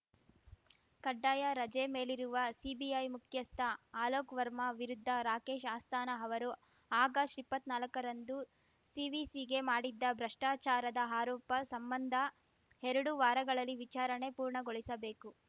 ಕಡ್ಡಾಯ ರಜೆ ಮೇಲಿರುವ ಸಿಬಿಐ ಮುಖ್ಯಸ್ಥ ಅಲೋಕ್‌ ವರ್ಮಾ ವಿರುದ್ಧ ರಾಕೇಶ್‌ ಅಸ್ಥಾನಾ ಅವರು ಆಗಸ್ಟ್ಇಪ್ಪತ್ನಾಲ್ಕರಂದು ಸಿವಿಸಿಗೆ ಮಾಡಿದ್ದ ಭ್ರಷ್ಟಾಚಾರದ ಆರೋಪ ಸಂಬಂಧ ಎರಡು ವಾರಗಳಲ್ಲಿ ವಿಚಾರಣೆ ಪೂರ್ಣಗೊಳಿಸಬೇಕು